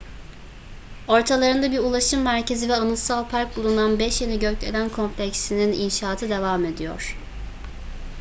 ortalarında bir ulaşım merkezi ve anıtsal park bulunan beş yeni gökdelen kompleksinin inşaatı devam ediyor